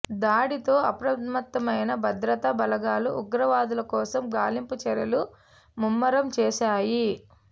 దాడితో అప్రమత్తమైన భద్రతా బలగాలు ఉగ్రవాదుల కోసం గాలింపు చర్యలు ముమ్మరం చేశాయి